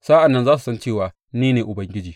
Sa’an nan za su san cewa ni ne Ubangiji.